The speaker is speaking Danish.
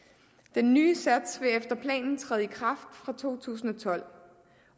den nye sats vil efter planen træde i kraft fra to tusind og tolv